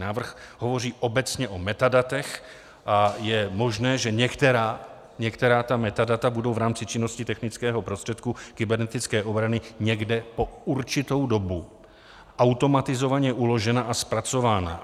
Návrh hovoří obecně o metadatech a je možné, že některá ta metadata budou v rámci činnosti technického prostředku kybernetické obrany někde po určitou dobu automatizovaně uložena a zpracována.